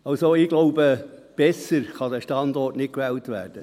Also, ich glaube: Besser kann dieser Standort nicht gewählt werden.